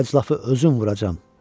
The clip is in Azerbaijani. O əclafı özüm vuracam!